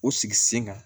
O sigi sen kan